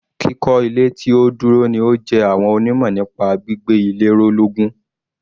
Kíkọ́ ilé tí ó dúró ni ó jẹ àwọn onímọ̀ nípa gbígbé ilé ró lógún.